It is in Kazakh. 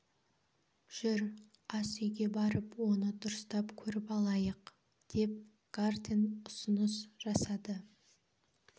жүр ас үйге барып оны дұрыстап көріп алайық деп гартен ұсыныс жасады